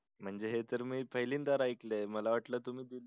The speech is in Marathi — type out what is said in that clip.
म्हणजे हे तर मी पहिल्यादा बार ऐकलंय मला वाटलं तुम्ही खूप